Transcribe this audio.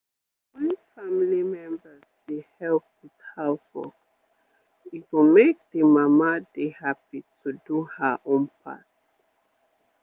wen family members dey help with house work e go make d mama dey happy to do her own part